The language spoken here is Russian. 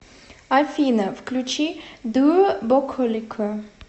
афина включи дуо буколико